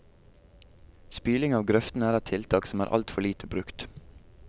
Spyling av grøftene er et tiltak som er alt for lite brukt.